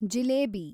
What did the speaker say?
jalebi